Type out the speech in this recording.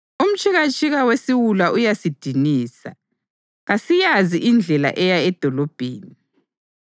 Umtshikatshika wesiwula uyasidinisa; kasiyazi indlela eya edolobheni.